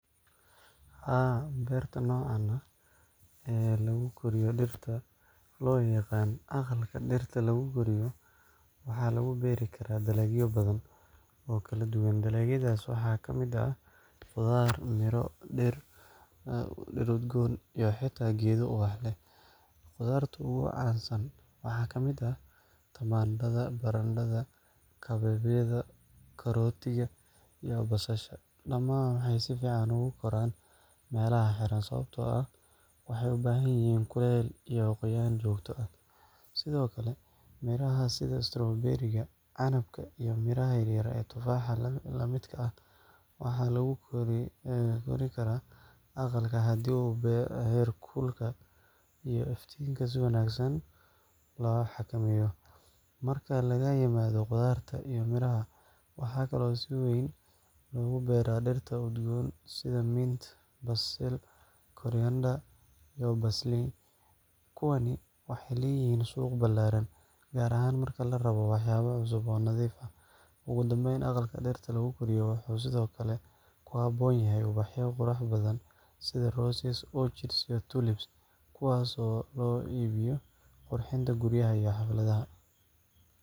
Haa, beerta nooca ah ee lagu koriyo dhirta, oo loo yaqaan aqalka dhirta lagu koriyo, waxaa lagu beeri karaa dalagyo badan oo kala duwan. Dalagyadaas waxaa ka mid ah khudaar, miro, dhir udgoon iyo xitaa geedo ubax leh. Khudaarta ugu caansan waxaa ka mid ah tamaandhada, barandhada, kabeebeyda, karootada, iyo basasha. Dhammaan waxay si fiican ugu koraan meelaha xiran, sababtoo ah waxay u baahan yihiin kulayl iyo qoyaan joogto ah. Sidoo kale, miraha sida strawberry-ga, canabka, iyo miraha yaryar ee tufaaxa la midka ah waxaa lagu kori karaa aqalka haddii heerkulka iyo iftiinka si wanaagsan loo xakameeyo. Marka laga yimaado khudaarta iyo miraha, waxaa kale oo si weyn loogu beeraa dhirta udgoon sida mint, basil, coriander, iyo parsley. Kuwani waxay leeyihiin suuq ballaaran, gaar ahaan marka la rabo waxyaabo cusub oo nadiif ah. Ugu dambeyntii, aqalka dhirta lagu koriyo wuxuu sidoo kale ku habboon yahay ubaxyo qurux badan sida roses, orchids, iyo tulips, kuwaasoo loo iibgeeyo qurxinta guryaha iyo xafladaha.